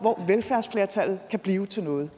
at velfærdsflertallet kan blive til noget